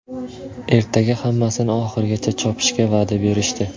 Ertaga hammasini oxirigacha chopishga va’da berishdi.